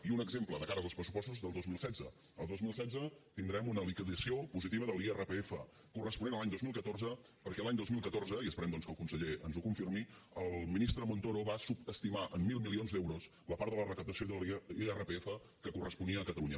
i un exemple de cara als pressupostos del dos mil setze el dos mil setze tindrem una liquidació positiva de l’irpf corresponent a l’any dos mil catorze perquè l’any dos mil catorze i esperem doncs que el conseller ens ho confirmi el ministre montoro va subestimar en mil milions d’euros la part de la recaptació de l’irpf que corresponia a catalunya